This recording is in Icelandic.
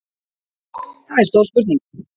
Það er stór spurning